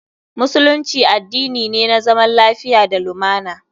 Musulunci addini ne na zaman lafiya da lumana.